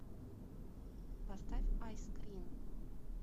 поставь айскрин